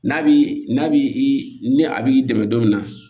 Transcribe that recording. N'a bi n'a bi ni a b'i dɛmɛ don min na